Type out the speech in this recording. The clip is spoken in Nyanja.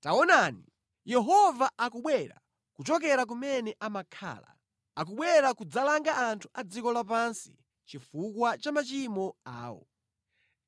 Taonani, Yehova akubwera kuchokera kumene amakhala; akubwera kudzalanga anthu a dziko lapansi chifukwa cha machimo awo.